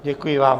Děkuji vám.